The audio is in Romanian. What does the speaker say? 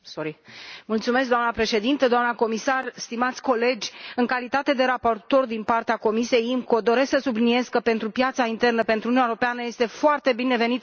Doamnă președinte, doamnă comisar, stimați colegi, în calitate de raportor din partea Comisiei IMCO doresc să subliniez că pentru piața internă, pentru Uniunea Europeană este foarte binevenit acest raport.